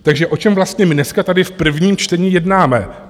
Takže o čem vlastně my dneska tady v prvním čtení jednáme?